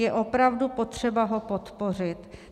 Je opravdu potřeba ho podpořit."